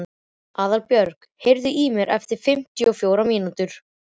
Aðalbjörg, heyrðu í mér eftir fimmtíu og fjórar mínútur.